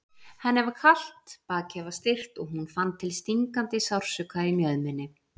Henni var kalt, bakið var stirt og hún fann til stingandi sársauka í mjöðminni.